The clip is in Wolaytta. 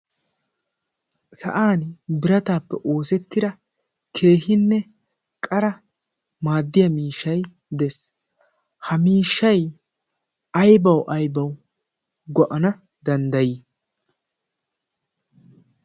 sa'an birataappe oosettida keehinne qara maaddiya miishshai dees ha miishshai aybau aybawu go'ana danddayii?